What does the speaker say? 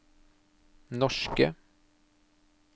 norske